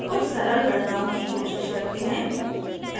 कुछ सरल गणनाओं की कोशिश करते हैं